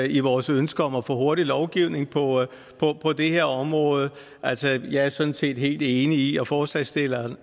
i vores ønsker om at få hurtig lovgivning på det her område altså jeg er sådan set helt enig i og forslagsstillerne